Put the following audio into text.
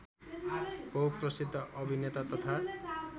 बहुप्रसिद्ध अभिनेता तथा